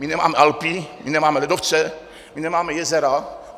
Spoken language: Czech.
My nemáme Alpy, my nemáme ledovce, my nemáme jezera.